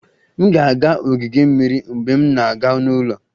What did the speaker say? M ga-aga ogige mmiri mgbe m na-aga n'ụlọ